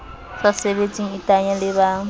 sa sebetseng iteanye le ba